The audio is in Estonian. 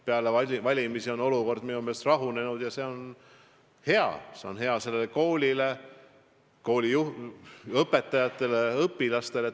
Peale valimisi on olukord minu meelest rahunenud ja see on hea – see on hea sellele koolile, selle kooli õpetajatele ja õpilastele.